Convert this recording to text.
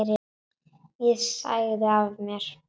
Ég sagði af mér.